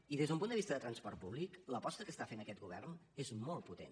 i des d’un punt de vista de transport públic l’aposta que està fent aquest govern és molt potent